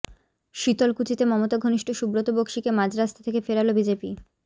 শীতলকুচিতে মমতা ঘনিষ্ঠ সুব্রত বক্সিকে মাঝরাস্তা থেকে ফেরাল বিজেপি